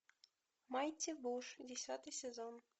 майти буш десятый сезон